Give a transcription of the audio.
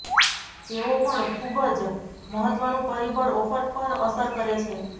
તેઓ પણ ખૂબ જ મહત્ત્વનું પરિબળ ઓફર પર અસર કરે છે